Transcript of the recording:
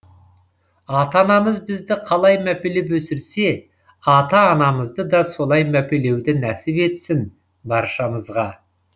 ата анамыз бізді қалай мәпелеп өсірсе ата анамызды да солай мәпелеуді нәсіп етсін баршамызға